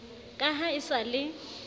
ka ha e sa le